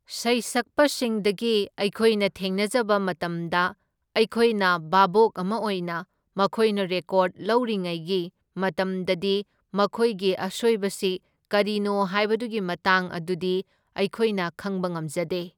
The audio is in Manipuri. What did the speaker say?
ꯁꯩꯁꯛꯄꯁꯤꯡꯗꯒꯤ ꯑꯩꯈꯣꯏꯅ ꯊꯦꯡꯅꯖꯕ ꯃꯇꯝꯗ ꯑꯩꯈꯣꯏꯅ ꯚꯥꯕꯣꯛ ꯑꯃ ꯑꯣꯏꯅ ꯃꯈꯣꯏꯅ ꯔꯦꯀꯣꯗ ꯂꯧꯔꯤꯉꯩꯒꯤ ꯃꯇꯝꯗꯗꯤ ꯃꯈꯣꯏꯒꯤ ꯑꯁꯣꯏꯕꯁꯤ ꯀꯔꯤꯅꯣ ꯍꯥꯏꯕꯗꯨꯒꯤ ꯃꯇꯥꯡ ꯑꯗꯨꯗꯤ ꯑꯩꯈꯣꯏꯅ ꯈꯪꯕ ꯉꯝꯖꯗꯦ꯫